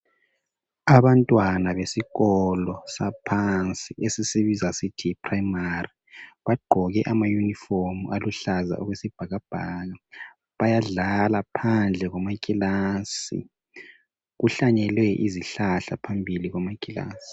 Abantwana besikolo saphansi esisibiza sisithi yi primary bagqoke amayunifomu aluhlaza okwesibhakabhaka bayadlala phandle kwamakilasi. Kuhlanyelwe izihlahla phambili kwamakilasi.